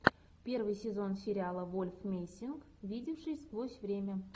первый сезон сериала вольф мессинг видевший сквозь время